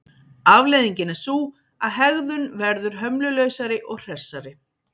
Afleiðingin er sú að hegðun verður hömlulausari og hressari.